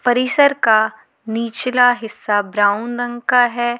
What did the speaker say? परिसर का निचला हिस्सा ब्राउन रंग का है।